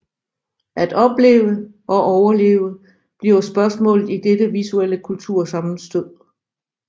At opleve og overleve bliver spørgsmålet i dette visuelle kultursammenstød